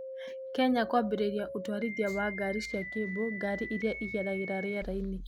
Kenya kwambĩria ũtwarithia wa ngari cia cable ngari irĩa ithiagĩra rĩerainĩ